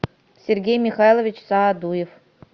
сергей михайлович саадуев